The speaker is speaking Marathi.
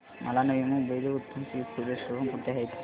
मला नवी मुंबईतलं उत्तम सी फूड रेस्टोरंट कुठे आहे ते सांग